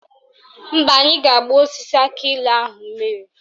Mba, anyị ga-agba osisi akịilụ ahụ mmiri